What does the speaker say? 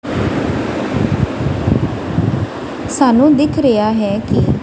ਸਾਨੂੰ ਦਿੱਖ ਰਿਹਾ ਹੈ ਕੀ--